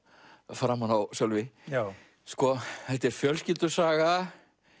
framan á Sölvi já þetta er fjölskyldusaga